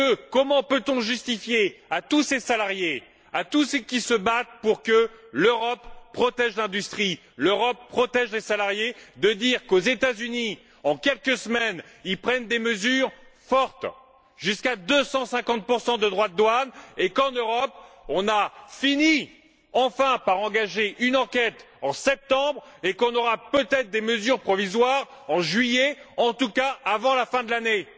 Comment peut on justifier envers tous ces salariés, envers tous ceux qui se battent pour que l'Europe protège l'industrie, qu'elle protège les salariés, d'annoncer que les États Unis, en quelques semaines, prennent des mesures fortes jusqu'à 250 de droits de douanes et qu'en Europe, nous avons enfin fini par engager une enquête en septembre et que nous aurons peut être des mesures provisoires en juillet, en tout cas avant la fin de l'année?